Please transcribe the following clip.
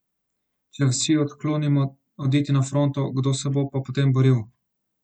Če Vsi odklonimo oditi na fronto, kdo se bo pa potem boril?